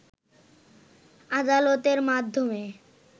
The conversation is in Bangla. আদালতের মাধ্যমে